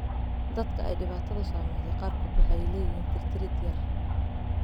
Dadka ay dhibaatadu saameysey qaarkood waxay leeyihiin tirtirid yar.